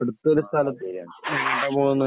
അടുത്ത് ഒരു സ്ഥലം എങ്ങോട്ടാണ് പോകുന്നത്?